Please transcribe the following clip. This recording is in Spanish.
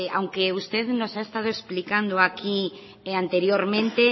aunque usted nos ha estado explicando aquí anteriormente